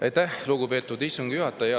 Aitäh, lugupeetud istungi juhataja!